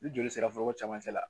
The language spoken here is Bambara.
Ni joli sera fo cɛmancɛ la